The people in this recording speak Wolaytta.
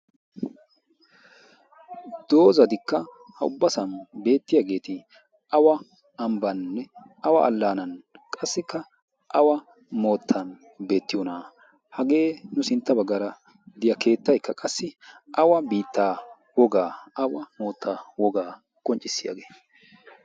Doozatikka ha ubbasan beettiyagetti awa ambbaninne awa allanan qassika awa moottan beettiyona? Hagee nu sintta baggaara de'iyaa keettaykka qassi awa biittaa wogaa awa mootta wogaa qonccissiyagee?